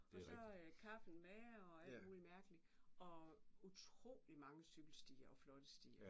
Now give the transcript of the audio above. Og så kaffen med og alt muligt mærkeligt og utrolig mange cykelstier og flotte stier